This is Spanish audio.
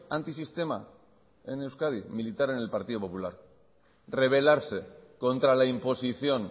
antisistema en euskadi militar en el partido popular revelarse contra la imposición